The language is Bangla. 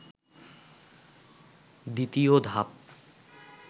দ্বিতীয় ধাপ